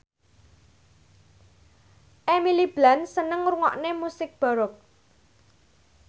Emily Blunt seneng ngrungokne musik baroque